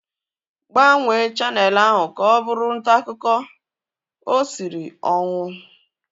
Gbanwee chaneelụ ahu ka ọ bụrụ ntaakụkọ! O siri ọnwụ